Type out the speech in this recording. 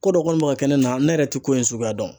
Ko dɔ kɔni bɛ ka kɛ ne, na ne yɛrɛ tɛ ko in suguya dɔn